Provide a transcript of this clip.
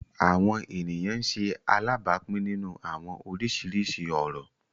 Awọn eniyan ń ṣe alabapin ninu awọn oriṣiriṣi orọ